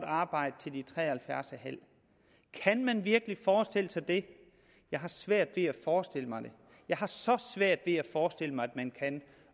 arbejde til de er tre og halvfjerds en halv år kan man virkelig forestille sig det jeg har svært ved at forestille mig det jeg har så svært ved at forestille mig at man kan